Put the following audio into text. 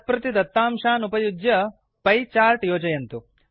तत् प्रति दत्तांशान् उपयुज्य पिए चार्ट् योजयन्तु